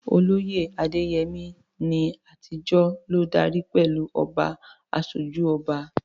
Olóyè Adeyemi, ní àtijọ́, ló darí pẹ̀lú "Oba Asoju Oba."